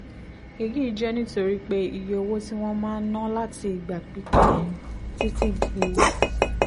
èyí jẹ́ nítorí pé iye owó tí wọ́n máa ń ná láti ìgbà pípẹ́ (títí di